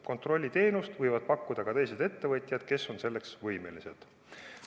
Kontrollteenust võivad pakkuda ka teised ettevõtjad, kes on selleks võimelised.